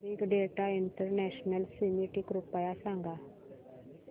big data international summit कृपया सांगा